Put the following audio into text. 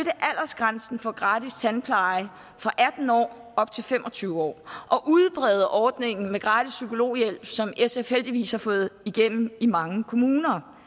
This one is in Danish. langsomt for gratis tandpleje fra atten år op til fem og tyve år og udbrede ordningen med gratis psykologhjælp som sf heldigvis har fået igennem i mange kommuner